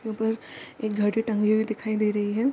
ऊपर एक घड़ी टंगी हुई दिखाई दे रही है।